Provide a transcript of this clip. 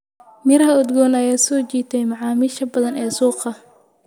Miraha udgoon ayaa soo jiitay macaamiisha badan ee suuqa.